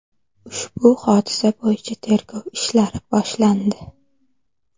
Ushbu hodisa bo‘yicha tergov ishlari boshlandi.